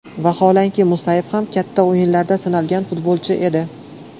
Vaholanki, Musayev ham katta o‘yinlarda sinalgan futbolchi edi.